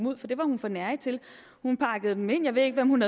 ud for det var hun for nærig til hun pakkede dem ind jeg ved ikke hvem hun